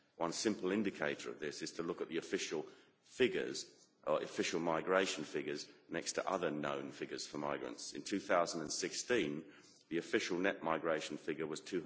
One simple indicator of this is to look at the official migration figures next to other known figures for migrants. In 2016, the official net migration figure was